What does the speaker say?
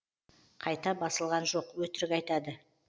қайта басылған жоқ өтірік айтады